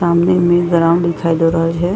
सामने में ग्राउंड दिखाई दे रहल हे।